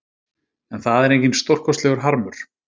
En það er enginn stórkostlegur harmur